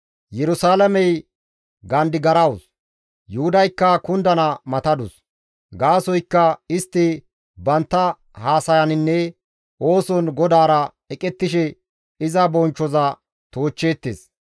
Yerusalaamey gandigarawus; Yuhudaykka kundana matadus; gaasoykka istti bantta haasayaninne ooson GODAARA eqettishe iza bonchchoza toochcheettes.